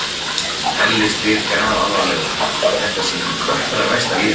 Elli spyr grafalvarlegur, hvort þetta sé mín allra versta líðan?